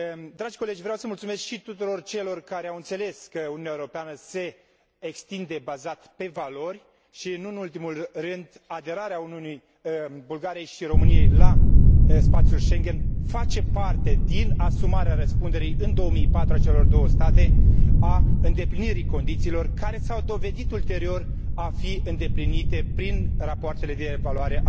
Dragi colegi, vreau să mulțumesc și tuturor celor care au înțeles că Uniunea Europeană se extinde pe baza valorilor și, nu în ultimul rând, aderarea Bulgariei și României la spațiul Schengen face parte din asumarea răspunderii în 2004 de către cele două state pentru îndeplinirea condițiilor, care s au dovedit ulterior a fi îndeplinite prin rapoartele de evaluare